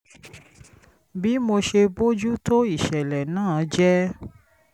bí mo ṣe bójú tó ìṣẹ̀lẹ̀ náà jẹ́